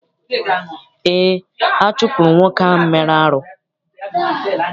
Eé, a chụpụrụ nwoke ahụ mere arụ.